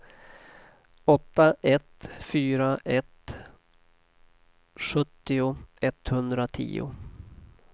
åtta ett fyra ett sjuttio etthundratio